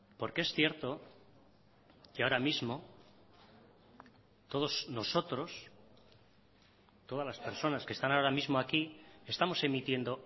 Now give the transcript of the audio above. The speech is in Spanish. porque es cierto que ahora mismo todos nosotros todas las personas que están ahora mismo aquí estamos emitiendo